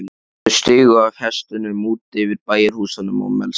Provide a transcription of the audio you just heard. Þau stigu af hestunum úti fyrir bæjarhúsunum á Melstað.